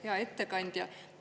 Hea ettekandja!